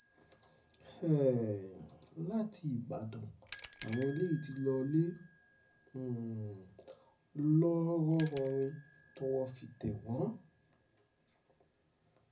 um láti ìbàdàn làwọn eléyìí ti lọọ́lẹ̀ um ńlọrọrìn tọ́wọ́ fi tẹ̀ wọ́n